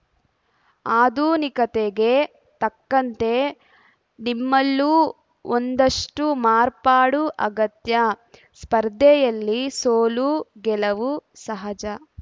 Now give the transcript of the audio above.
ಆಧುನಿಕತೆಗೆ ತಕ್ಕಂತೆ ನಿಮ್ಮಲ್ಲೂ ಒಂದಷ್ಟುಮಾರ್ಪಾಡು ಅಗತ್ಯ ಸ್ಪರ್ಧೆಯಲ್ಲಿ ಸೋಲು ಗೆಲವು ಸಹಜ